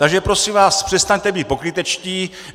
Takže prosím vás, přestaňte být pokrytečtí.